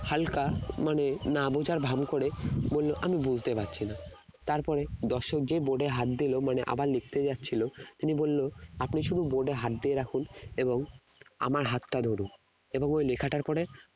হালকা মানে না বোঝার ভান করে আমি বলতে পারছি না তারপরে দর্শক যেই board এ হাত দিল মানে আবার লিখতে যাচ্ছিল তিনি বললো আপনি শুধু board এ হাত দিয়ে রাখুন এবং আমার হাতটা ধরুন এবং ওই লেখাটার ওপরে